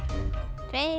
tveir